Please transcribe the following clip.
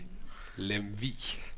Lemvig